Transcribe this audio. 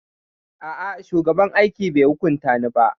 A'a, shugaban aiki bai hukunta ni ba.